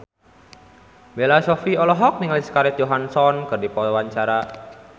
Bella Shofie olohok ningali Scarlett Johansson keur diwawancara